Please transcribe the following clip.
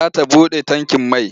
Za ta buɗe tankin mai.